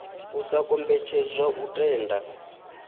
u sa kombetshedzwa u tenda